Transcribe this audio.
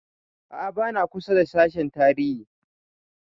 A'a ba na kusa da sashen tarihi